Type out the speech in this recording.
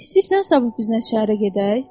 İstəyirsənsə sabah bizimlə şəhərə gedək?